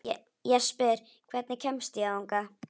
Jesper, hvernig kemst ég þangað?